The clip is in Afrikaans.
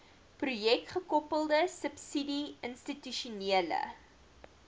projekgekoppelde subsidie institusionele